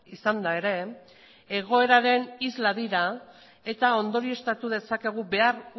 izanda ere egoeraren isla dira eta ondorioztatu dezakegu behar